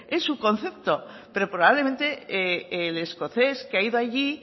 es su concepto pero probablemente el escocés que ha ido allí